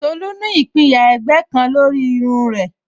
Tolu ní ìpinyà ẹ̀gbẹ́ kan lórí irun rẹ̀